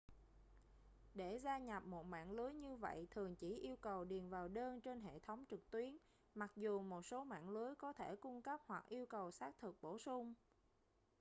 để gia nhập một mạng lưới như vậy thường chỉ yêu cầu điền vào đơn trên hệ thống trực tuyến mặc dù một số mạng lưới có thể cung cấp hoặc yêu cầu xác thực bổ sung